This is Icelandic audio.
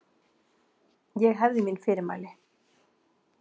Ég hefði mín fyrirmæli.